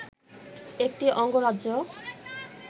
একটি অঙ্গরাজ্য